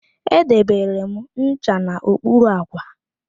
Edebere m ncha n'okpuru àkwà